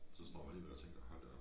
Så står man alligevel og tænker hold da op